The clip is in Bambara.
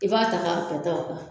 I b'a ta ka pɛtɛ o kan